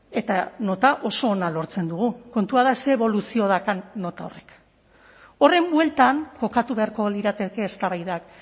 eta nota oso ona lortzen dugu kontua da zer eboluzio daukan nota horrek horren bueltan kokatu beharko lirateke eztabaidak